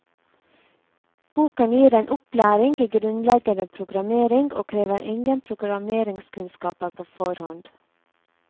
Boken gir en opplæring i grunnleggende programmering, og krever ingen programmeringskunnskaper på forhånd.